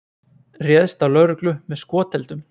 Réðst á lögreglu með skoteldum